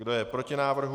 Kdo je proti návrhu?